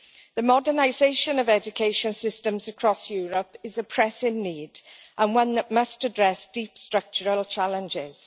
The modernisation of education systems across Europe is a pressing need, and one that must address deep structural challenges.